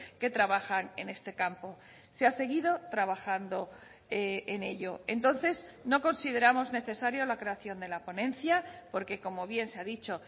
que trabajan en este campo se ha seguido trabajando en ello entonces no consideramos necesario la creación de la ponencia porque como bien se ha dicho